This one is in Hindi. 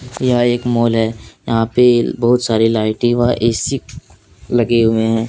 यह एक मॉल है यहाँ पे बहोत सारी लाइटे व ए_सी लगे हुए हैं।